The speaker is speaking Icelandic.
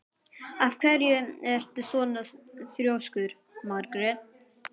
Af hverju ertu svona þrjóskur, Margrét?